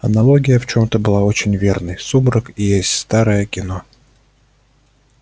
аналогия в чём-то была очень верной сумрак и есть старое кино